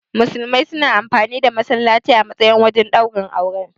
Musulmai suna amfani da. masallaci a matsayin wajen ɗaurin aure.